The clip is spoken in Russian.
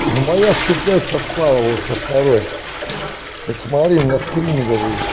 ну моя сто пять совпало со второй вот смотри у меня скрины вот